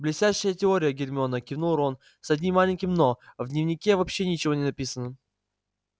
блестящая теория гермиона кивнул рон с одним маленьким но в дневнике вообще ничего не написано